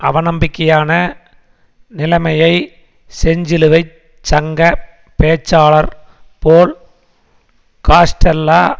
அவநம்பிக்கையான நிலைமையை செஞ்சிலுவை சங்க பேச்சாளர் போல் காஸ்டெல்லா